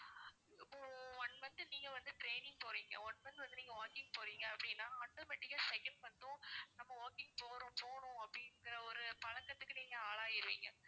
இப்போ one month நீங்க வந்து training போறீங்க one month வந்து நீங்க walking போறீங்க அப்படின்னா automatic ஆ second month உம் நம்ம walking போறோம் போணும் அப்படின்னு